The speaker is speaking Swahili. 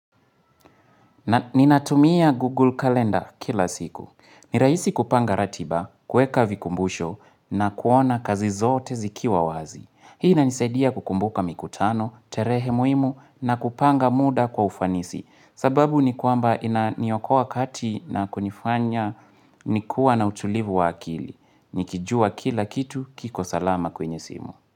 Ni natumia Google Calendar kila siku. Ni rahisi kupanga ratiba, kueka vikumbusho na kuona kazi zote zikiwa wazi. Hii na nisaidia kukumbuka mikutano, terehe muimu na kupanga muda kwa ufanisi. Sababu ni kwamba ni okua kati na kunifanya ni kuwa na utulivu wa akili. Nikijua kila kitu kiko salama kwenye simu.